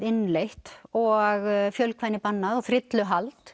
innleitt og fjölkvæni bannað og